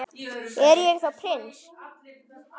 Er ég þá prins?